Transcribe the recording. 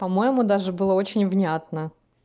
по-моему даже было очень внятно